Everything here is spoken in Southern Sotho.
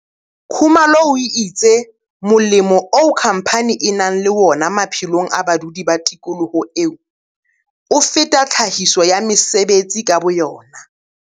Khumalo o itse molemo oo khamphane e nang le wona maphelong a badudi ba tikoloho eo, o feta tlhahiso ya mesebetsi ka boyona.